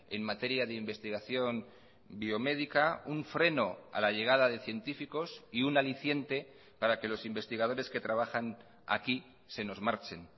en materia de investigación biomédica un freno a la llegada de científicos y un aliciente para que los investigadores que trabajan aquí se nos marchen